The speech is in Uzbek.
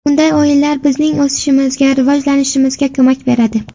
Bunday o‘yinlar bizning o‘sishimizga, rivojlanishimizga ko‘mak beradi.